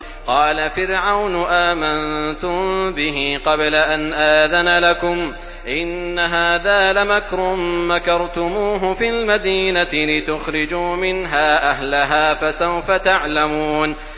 قَالَ فِرْعَوْنُ آمَنتُم بِهِ قَبْلَ أَنْ آذَنَ لَكُمْ ۖ إِنَّ هَٰذَا لَمَكْرٌ مَّكَرْتُمُوهُ فِي الْمَدِينَةِ لِتُخْرِجُوا مِنْهَا أَهْلَهَا ۖ فَسَوْفَ تَعْلَمُونَ